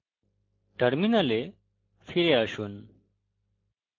terminal ফিরে আসুন